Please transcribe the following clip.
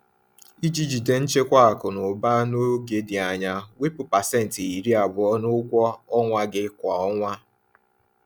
Iji jide nchekwa akụ na ụba n’oge dị anya, wepụ pasenti iri abụọ (20%) n’ụgwọ ọnwa gị kwa ọnwa.